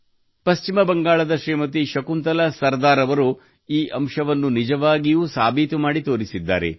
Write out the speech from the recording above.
ಪಶ್ಚಿಮ ಬಂಗಾಳದ ಶ್ರೀಮತಿ ಶಕುಂತಲಾ ಸರದಾರ್ ಅವರು ಈ ಅಂಶವನ್ನು ನಿಜವಾಗಿಯೂ ಸಾಬೀತು ಮಾಡಿ ತೋರಿಸಿದ್ದಾರೆ